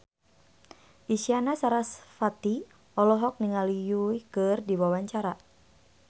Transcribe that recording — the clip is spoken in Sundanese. Isyana Sarasvati olohok ningali Yui keur diwawancara